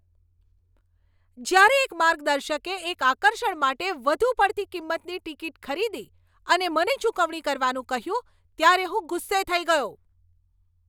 જ્યારે એક માર્ગદર્શકે એક આકર્ષણ માટે વધુ પડતી કિંમતની ટિકિટ ખરીદી અને મને ચૂકવણી કરવાનું કહ્યું ત્યારે હું ગુસ્સે થઈ ગયો.